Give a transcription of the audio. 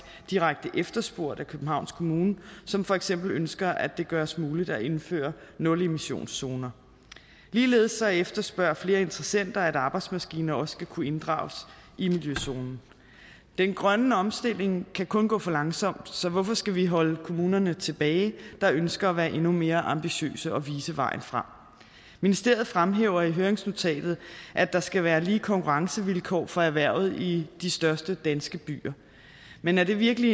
direkte efterspurgt af københavns kommune som for eksempel ønsker at det gøres muligt at indføre nulemissionszoner ligeledes efterspørger flere interessenter at arbejdsmaskiner også skal kunne inddrages i miljøzonen den grønne omstilling kan kun gå for langsomt så hvorfor skal vi holde kommuner tilbage der ønsker at være endnu mere ambitiøse og vise vejen frem ministeriet fremhæver i høringsnotatet at der skal være lige konkurrencevilkår for erhvervet i de største danske byer men er det virkelig